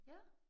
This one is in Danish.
Ja